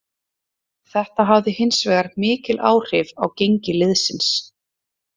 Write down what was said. Þetta hafði hinsvegar mikil áhrif á gengi liðsins.